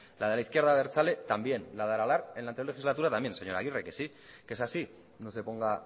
la de la izquierda abertzale también la de aralar en la anterior legislatura también señor aguirre que sí que es así no se ponga